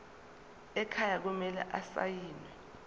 ekhaya kumele asayiniwe